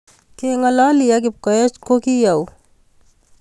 Kengololi ak Kipkoech ko gi au